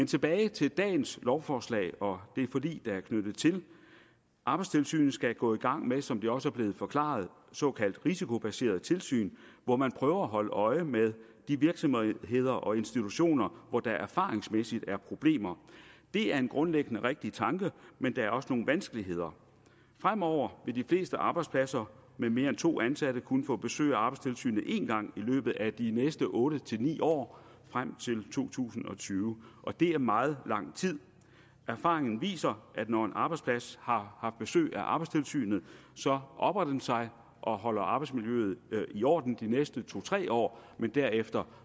tilbage til dagens lovforslag og det forlig der er knyttet til arbejdstilsynet skal gå i gang med som det også er blevet forklaret såkaldt risikobaseret tilsyn hvor man prøver at holde øje med de virksomheder og institutioner hvor der erfaringsmæssigt er problemer det er grundlæggende en rigtig tanke men der er også nogle vanskeligheder fremover vil de fleste arbejdspladser med mere end to ansatte kun få besøg af arbejdstilsynet én gang i løbet af de næste otte ni år frem til to tusind og tyve og det er meget lang tid erfaringen viser at når en arbejdsplads har haft besøg af arbejdstilsynet opper den sig og holder arbejdsmiljøet i orden de næste to tre år men derefter